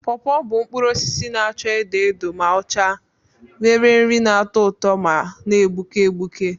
Pọọpọ bụ mkpụrụ osisi na-acha edo edo ma ọ chaa acha, nwere nri na-atọ ụtọ ma na-egbuke egbuke.